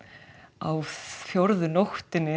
á fjórðu nóttinni